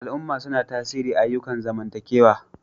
Al'umma suna tasiri ayyukan zamantakewa.